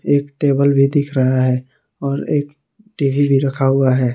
एक टेबल भी दिख रहा है और एक टी_वी भी रखा हुआ है।